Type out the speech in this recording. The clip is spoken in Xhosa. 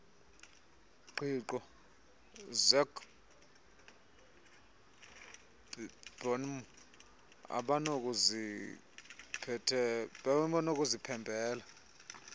ngqiqo zecbnrm abanokuziphembelela